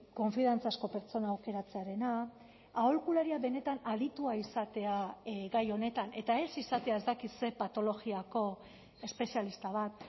konfiantzazko pertsona aukeratzearena aholkularia benetan aditua izatea gai honetan eta ez izatea ez dakit zer patologiako espezialista bat